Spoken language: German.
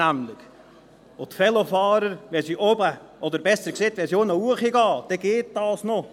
Wenn die Velofahrer von unten hochkommen, geht es noch.